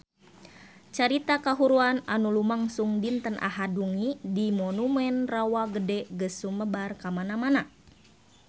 Carita kahuruan anu lumangsung dinten Ahad wengi di Monumen Rawa Gede geus sumebar kamana-mana